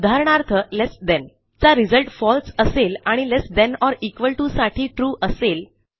उदाहरणार्थ less than चा result फळसे असेल आणि less than or equal to साठी ट्रू असेल